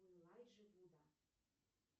у элайджи вуда